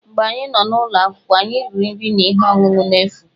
Mgbe anyị nọ n'ụlọ akwụkwọ, anyị riri nri na ihe ọṅụṅụ n'efu.